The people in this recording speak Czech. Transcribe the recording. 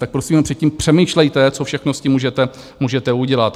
Tak prosím předtím přemýšlejte, co všechno s tím můžete udělat.